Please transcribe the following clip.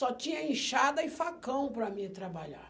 Só tinha inchada e facão para mim trabalhar.